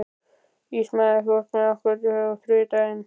Ismael, ferð þú með okkur á þriðjudaginn?